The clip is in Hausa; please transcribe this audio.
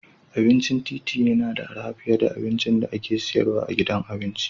Abincin titi yana da arha fiye da abincin da ake sayarwa a gidan abinci.